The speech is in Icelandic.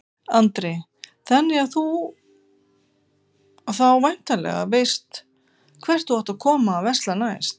Andri: Þannig að þú þá væntanlega veist hvert þú átt að koma að versla næst?